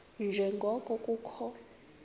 nje ngoko kukho